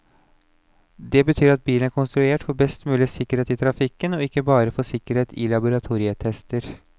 Det betyr at bilen er konstruert for best mulig sikkerhet i trafikken, og ikke bare for sikkerhet i laboratorietester.